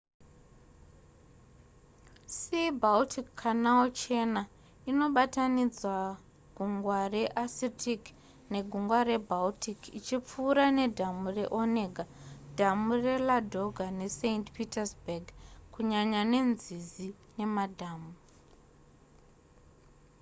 sea-baltic canal chena inobatanidza gungwa rearcitic negungwa rebaltic ichipfuura ne dhamu re onega dhamu reladoga ne saint petersburg kunyanya nenzizi nemadhamu